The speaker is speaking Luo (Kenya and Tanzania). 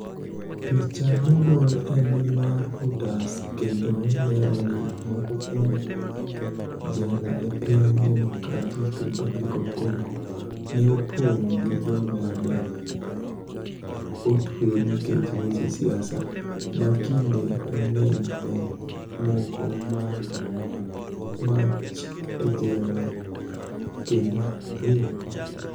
Picha mogol eni mar Reuters kenido lero nii moko kuom jela e piniy Democratic Republic of Conigo, ni e oponig ' gi joma ni e otue niikech weche siasa, ma kinide manig'eniy ni e moko mach e jela kenido rinigo.